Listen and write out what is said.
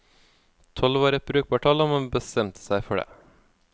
Tolv var et brukbart tall og man bestemte seg for det.